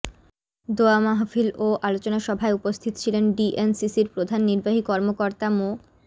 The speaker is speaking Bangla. দোয়া মাহফিল ও আলোচনা সভায় উপস্থিত ছিলেন ডিএনসিসির প্রধান নির্বাহী কর্মকর্তা মো